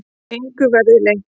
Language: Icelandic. Engu verði leynt.